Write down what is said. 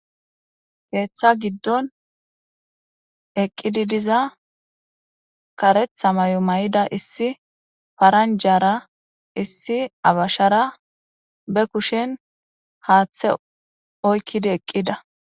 Keeththa giddon eqqidi diza karetha may7o may7ida issi paranjara issi abashara be kushen haaththe oykkidi eqqida.